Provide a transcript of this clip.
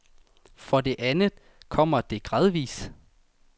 For det andet kommer det gradvis.